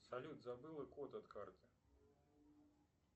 салют забыла код от карты